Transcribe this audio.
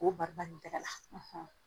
K'o barika ni tɛgɛ la .